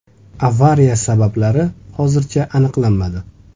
Avariya sabablari hozircha aniqlanmadi.